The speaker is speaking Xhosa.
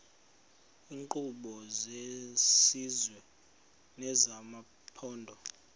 iinkqubo zesizwe nezamaphondo